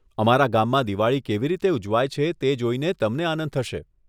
અમારા ગામમાં દિવાળી કેવી રીતે ઉજવાય છે તે જોઈને તમને આનંદ થશે.